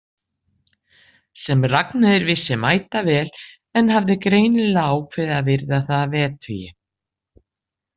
Sem Ragnheiður vissi mætavel en hafði greinilega ákveðið að virða það að vettugi.